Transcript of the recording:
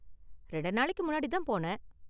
ரெண்டு நாளுக்கு முன்னாடி தான் போனேன்.